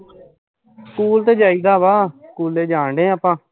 school ਤੇ ਜਾਇਦਾ ਵਾਂ ਸਕਹੂਲੇ ਜਾਣ ਡਏ ਆ ਆਪਾਂ